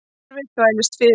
Kerfið þvælist fyrir